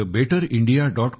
thebetterindia